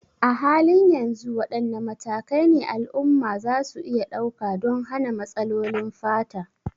A halin yanzu, wadanne matakai ne al'umma za su iya ɗauka don hana matsalolin fata?